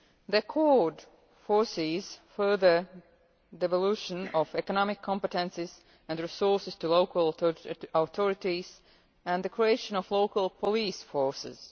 The Accord foresees further devolution of economic competencies and resources to local authorities and the creation of local police forces.